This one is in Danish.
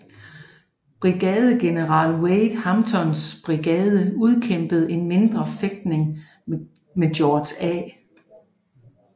Brigadegeneral Wade Hamptons brigade udkæmpede en mindre fægtning med George A